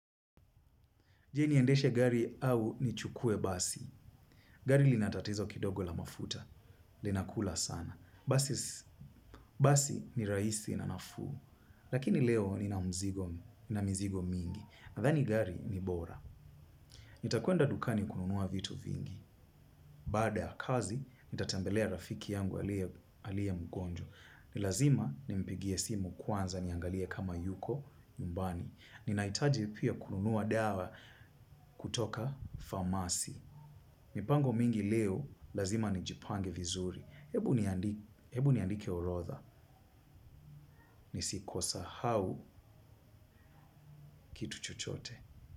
Je, niendeshe gari au nichukue basi. Gari linatatizo kidogo la mafuta. Linakula sana. Basi ni rahisi na nafuu. Lakini leo nina mizigo mingi. Nadhani gari ni bora. Nitakwenda dukani kununua vitu vingi. Baada ya kazi, nitatembelea rafiki yangu aliyemgonjwa. Ni lazima nimpigie simu kwanza niangalie kama yuko nyumbani. Ninahitaji pia kununua dawa kutoka famasi. Mipango mingi leo, lazima nijipange vizuri. Hebu niandike orodha. Nisiposahau kitu chochote.